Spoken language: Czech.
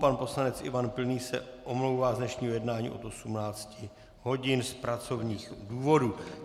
Pan poslanec Ivan Pilný se omlouvá z dnešního jednání od 18 hodin z pracovních důvodů.